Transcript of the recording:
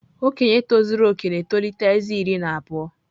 Okenye tozuru oke na-etolite ezé iri atọ na abụọ.